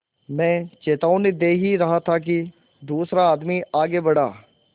मैं चेतावनी दे ही रहा था कि दूसरा आदमी आगे बढ़ा